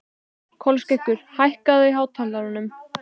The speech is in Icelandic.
Kolskeggur, hækkaðu í hátalaranum.